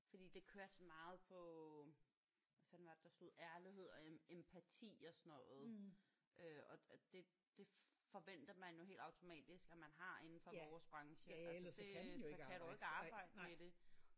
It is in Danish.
Fordi det kørte sådan meget på hvad fanden var det der stod ærlighed og empati og sådan noget. Øh og det det forventer man jo helt automatisk at man har inden for vores branche altså det så kan du ikke arbejde med det